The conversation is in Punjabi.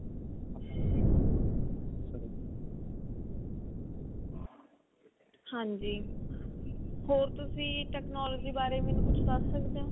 ਹਾਂਜੀ ਹੋਰ ਤੁਸੀਂ ਮੈਨੂੰ technology ਬਾਰੇ ਮੈਨੂੰ ਦੱਸ ਸਕਦੇ ਹੋ